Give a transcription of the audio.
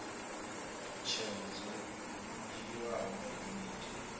tsheo dzo dzhiiwaho nga komiti